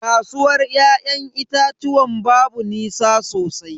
Kasuwar ya'yan itatuwan babu nisa sosai.